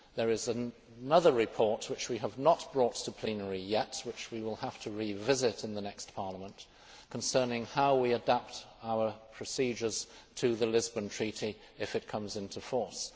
There is another report which we have not brought to plenary yet which we will have to revisit in the next Parliament concerning how we adapt our procedures to the Lisbon Treaty if it comes into force.